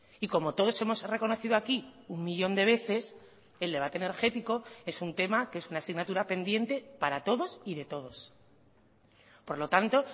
y como todos hemos reconocido aquí un millón de veces el debate energético es un tema que es una asignatura pendiente para todos y de todos por lo tanto